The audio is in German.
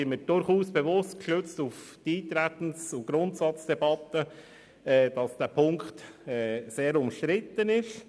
Erstens: Ich bin mir gestützt auf die Eintretens- und Grundsatzdebatte durchaus bewusst, dass dieser Punkt sehr umstritten ist.